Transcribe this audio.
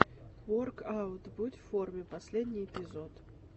воркаут будь в форме последний эпизод